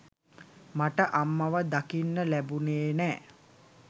මට අම්මව දකින්න ලැබුනේ නෑ.